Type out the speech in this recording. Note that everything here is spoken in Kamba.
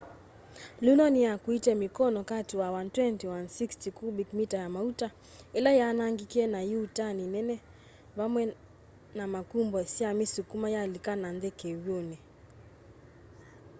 luno niyakuite mikono kati wa 120-160 kubik mita ya mauta ila yaanangikie na iuutani nene vamwe na makumbo syamisukuma yalika nanthi kiw'uni